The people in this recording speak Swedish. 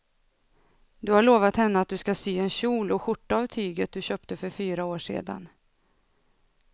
Du har lovat henne att du ska sy en kjol och skjorta av tyget du köpte för fyra år sedan.